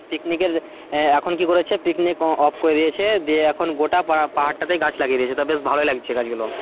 Picnic এর এখন কি বলেছে picnic off করে দিয়েছে দিয়ে এখন গোটা পারটাতে গাছ লাগিয়ে দিয়েছে তো বেশ ভালোই লাগছে গাছ গুলো.